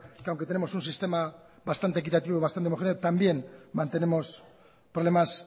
que aunque tenemos un sistema bastante equitativo y bastante homogéneo también mantenemos problemas